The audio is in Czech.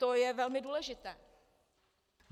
To je velmi důležité.